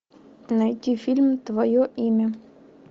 найти фильм твое имя